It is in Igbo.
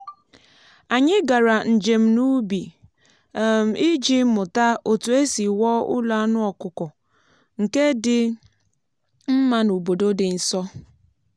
anyị gara njem n’ubi um iji mụta otu esi wuo ụlọ anụ ọkụkọ nke dị mma n’obodo dị nso.